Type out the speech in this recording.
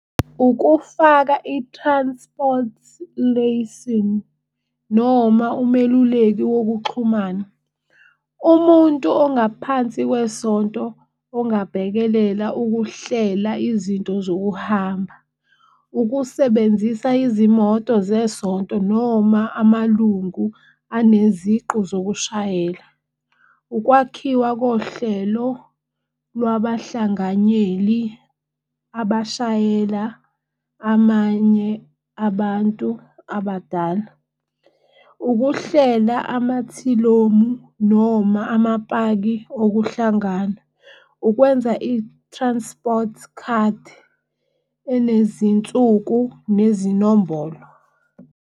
Ukufaka i-transport lesson noma umeluleki wokuxhumana. Umuntu ongaphansi kwesonto ongabhekelela ukuhlela izinto zokuhamba. Ukusebenzisa izimoto zesonto noma amalungu anezinqu zokushayela, ukwakhiwa kohlelo lwabahlanganyeli abashayela amanye abantu abadala. Ukuhlela amathilomu noma amapaki okuhlangana. Ukwenza i-transport card enezinsuku nezinombolo.